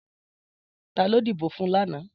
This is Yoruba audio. Tàló dibó fún làná